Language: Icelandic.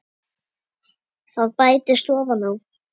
Það bætist ofan á.